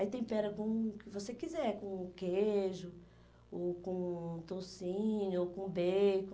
Aí tempera com o que você quiser, com queijo, ou com tocinho, com bacon.